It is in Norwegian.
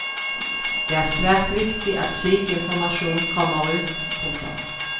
Det er svært viktig at slik informasjon kommer ut. punktum